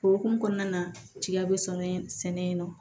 O hukumu kɔnɔna na tigiya bɛ sɔnɔ sɛnɛ in na